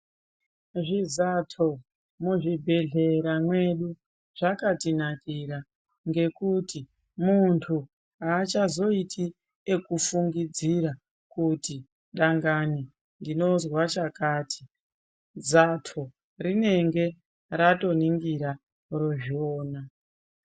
Zvizato muzvibhedhlera mwedu zvakatinakira ngokuti mundu haachazoiti ekufungidzira kuti ndangani ndinozwa chakati zato rinenge ratoningira rozviona.